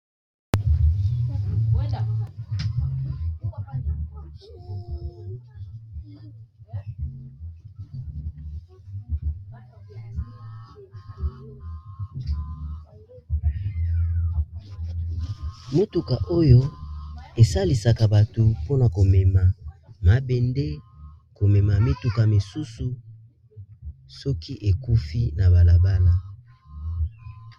Motuka oyo esalisaka bato mpona komema mabende komema mituka mosusu soki ekufi na balabala.